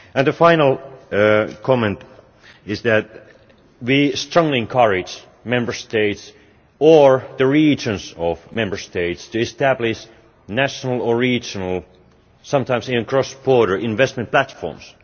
The final comment is that we strongly encourage Member States, as well as the regions of Member States, to establish national or regional and sometimes cross border investment platforms.